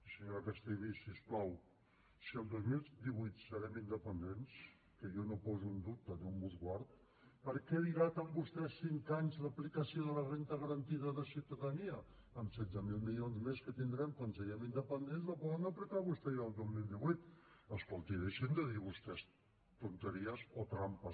senyora castellví si us plau si el dos mil divuit serem independents que jo no ho poso en dubte déu me’n guard per què dilaten vostès cinc anys l’aplicació de la renda garantida de ciutadania amb setze mil milions més que tindrem quan siguem independents la poden aplicar vostès ja el dos mil divuit escoltin deixin de dir vostès tonteries o trampes